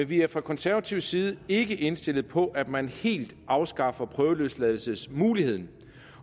vi er fra konservativ side ikke indstillet på at man helt afskaffer prøveløsladelsesmuligheden